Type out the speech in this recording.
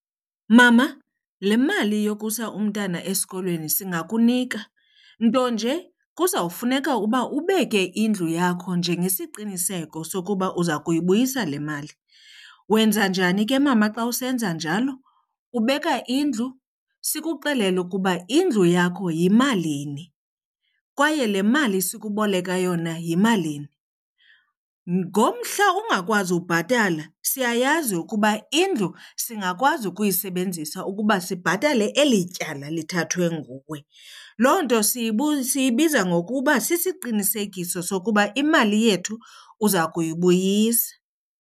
Mama, le mali yokusa umntana esikolweni singakunika nto nje kuzawufuneka uba ubeke indlu yakho njengesiqiniseko sokuba uza kuyibuyisa le mali. Wenza njani ke mama xa usenza njalo? Ubeka indlu sikuxelele ukuba indlu yakho yimalini kwaye le mali sikuboleka yona yimalini. Ngomhla ungakwazi ubhatala siyayazi ukuba indlu singakwazi ukuyisebenzisa ukuba sibhatale eli tyala lithathwe nguwe. Loo nto siyibiza ngokuba siqinisekiso sokuba imali yethu uza kuyibuyisa.